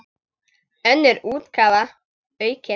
Önnur útgáfa, aukin.